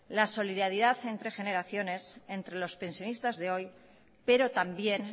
la solidaridad entre generaciones entre los pensionistas de hoy pero también